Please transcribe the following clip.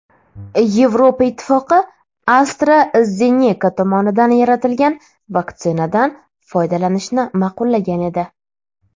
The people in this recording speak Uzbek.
Yevropa Ittifoqi AstraZeneca tomonidan yaratilgan vaksinadan foydalanishni ma’qullagan edi.